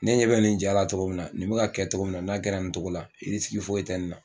Ne ɲɛ be nin jara togo min na nin be ka kɛ togo min na n'a kɛra nin tɔgɔ la irisigi foyi te nin na